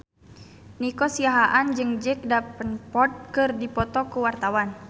Nico Siahaan jeung Jack Davenport keur dipoto ku wartawan